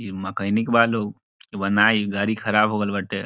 इ मैकेनिक बा लोग बना इ गाड़ी खराब हो गइल बाटे।